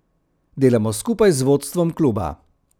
Delamo skupaj z vodstvom kluba.